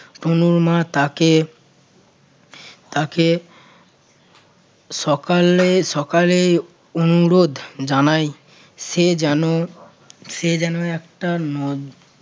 তনুর মা তাকে তাকে সকালে~ সকালে অনুরোধ জানায় সে যেন~ সে যেন একটার মধ্যে